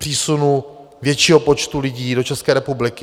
Přísunu většího počtu lidí do České republiky.